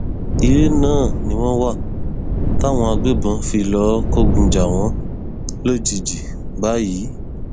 ilé náà ni wọn wà táwọn agbébọn fi lọọ kógun jà wọn lójijì báyìí